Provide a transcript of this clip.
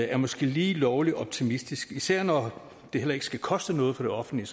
er måske lige lovlig optimistisk især når det heller ikke skal koste noget for det offentlige